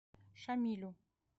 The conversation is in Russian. шамилю